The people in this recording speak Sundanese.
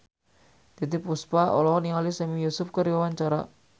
Titiek Puspa olohok ningali Sami Yusuf keur diwawancara